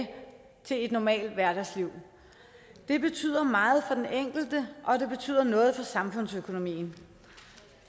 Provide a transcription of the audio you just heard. til et normalt hverdagsliv det betyder meget for den enkelte og det betyder noget for samfundsøkonomien